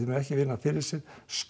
mega ekki vinna fyrir sér